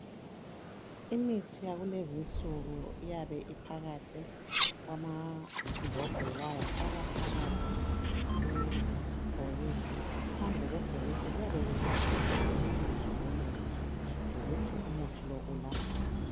Imithi yakulezi insuku iyabe ophakathi kwama mbodlela yafakwa phakathi kwebhokisi phandle kwebhokisi kuyabe kubhaliwe ibizo lo muthi lokuthi umuthi lo ulaphani